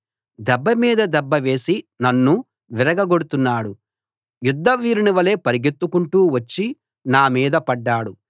దెబ్బ మీద దెబ్బ వేసి నన్ను విరగగొడుతున్నాడు యుద్ధ వీరుని వలే పరుగెత్తుకుంటూ వచ్చి నా మీద పడ్డాడు